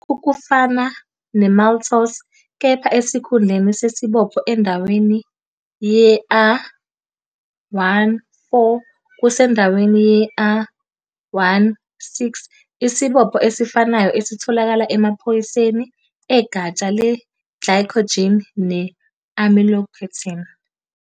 Lokhu kufana ne-maltose kepha esikhundleni sesibopho endaweni ye-a, 1 - 4, kusendaweni ye-a, 1 - 6, isibopho esifanayo esitholakala emaphoyiseni egatsha le-glycogen ne-amylopectin.